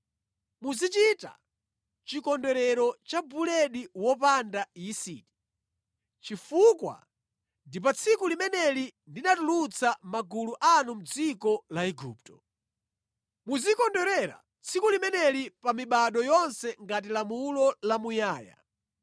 “Muzichita chikondwerero cha buledi wopanda yisiti, chifukwa ndi pa tsiku limeneli ndinatulutsa magulu anu mʼdziko la Igupto. Muzikondwerera tsiku limeneli pa mibado yonse ngati lamulo lamuyaya.